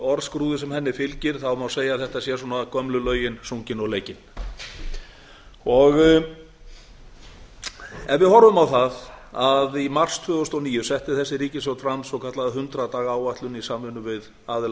og orðskrúðið sem henni fylgir þá segja að þetta sé svona gömlu lögin sungin og leikin ef við horfum á það að í mars tvö þúsund og níu setti þessi ríkisstjórn fram svokallaða hundrað daga áætlun í samvinnu við aðila